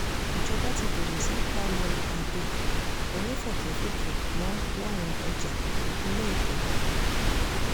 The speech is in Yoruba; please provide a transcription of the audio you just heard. ìjọba ti bẹ̀rẹ̀ sí í palẹ̀ abo onífọ́kẹ́fùkẹ̀ mọ́ láwọn ọjà ìpínlẹ̀ èkó